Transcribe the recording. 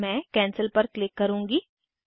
मैं कैंसिल पर क्लिक करुँगी